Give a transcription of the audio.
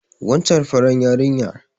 Wancan farar yarinya